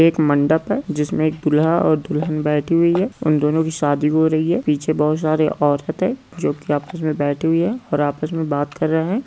एक मंडप है जिसमें एक दूल्हा और दुल्हन बैठी हुई है उन दोनों की शादी हो रही है पीछे बहुत सारी औरतें जो कि आपस में बैठे हुए और आपस में बात कर रहे है।